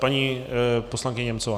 Paní poslankyně Němcová.